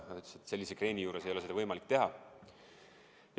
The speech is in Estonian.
Ta ütles, et sellise kreeni juures ei ole seda võimalik teha.